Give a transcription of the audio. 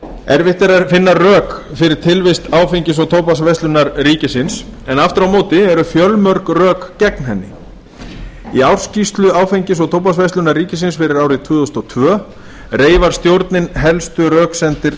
erfitt er að finna rök fyrir tilvist áfengis og tóbaksverslunar ríkisins en aftur á móti eru fjölmörg rök gegn henni í ársskýrslu áfengis og tóbaksverslunar ríkisins fyrir árið tvö þúsund og tvö reifar stjórnin helstu röksemdir